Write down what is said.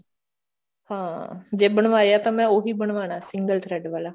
ਹਾਂ ਜੇ ਬਣਵਾਇਆ ਤਾਂ ਮੈਂ ਉਹੀ ਬਨਵਾਨਾ ਸੀ single thread ਵਾਲਾ